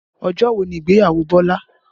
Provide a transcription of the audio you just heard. Ọjọ́ wo ni ìgbéyàwó Bọlá?